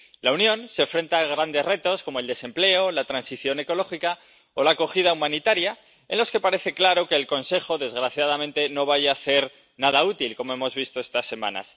La Unión se enfrenta a grandes retos, como el desempleo, la transición ecológica o la acogida humanitaria, en los que parece claro que el Consejo, desgraciadamente, no vaya a hacer nada útil, como hemos visto estas semanas.